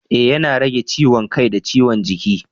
Ee yana rage ciwon kai da ciwon jiki.